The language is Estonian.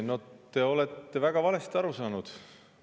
No te olete väga valesti aru saanud.